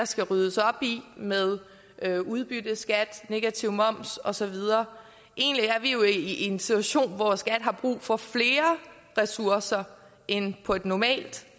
skal ryddes op i med med udbytteskat negativ moms og så videre egentlig er vi jo i en situation hvor skat har brug for flere ressourcer end på et normalt